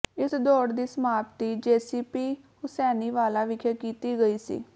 ਇਸ ਦੌੜ ਦੀ ਸਮਾਪਤੀ ਜੇਸੀਪੀ ਹੂਸੈਨੀਵਾਲਾ ਵਿਖੇ ਕੀਤੀ ਗਈ ਸੀ